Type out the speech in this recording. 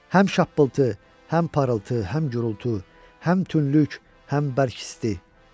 Həm şappıltı, həm parıltı, həm gurultu, həm tünlük, həm bərk isti.